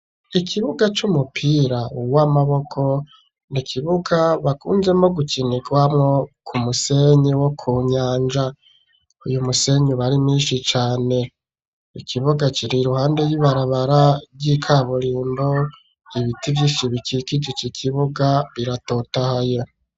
Ikibuga c'umupira uw'amaboko, ni kibuga bakunzemwo gukinirwamwo, ku musenyi wo ku nyanja, uyu musenyi bari minshi cane, ikibuga kiri iruhande y'ibarabara vy'ikaburimbo ,ibiti vy'inshi bikikuje ico kibuga biratotahaye.